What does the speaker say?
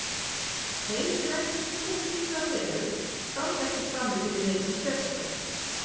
Þeir sem ekki trúa á slíka veru standa ekki frammi fyrir neinni þverstæðu.